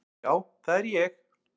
Já, það er ég!